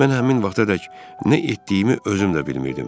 Mən həmin vaxtadək nə etdiyimi özüm də bilmirdim.